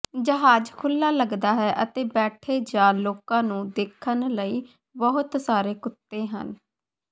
ਜਹਾਜ਼ ਖੁੱਲ੍ਹਾ ਲੱਗਦਾ ਹੈ ਅਤੇ ਬੈਠੇ ਜਾਂ ਲੋਕਾਂ ਨੂੰ ਦੇਖਣ ਲਈ ਬਹੁਤ ਸਾਰੇ ਕੁੱਤੇ ਹਨ